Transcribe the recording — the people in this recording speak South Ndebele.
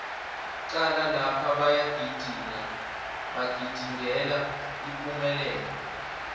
cala lapha bayagidinga bagidingela ipumelelo